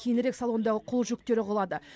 кейінірек салондағы қол жүктері құлады